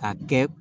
Ka kɛ